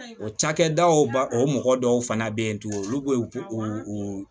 O cakɛdaw ba o mɔgɔ dɔw fana bɛ yen tugun olu bɛ u u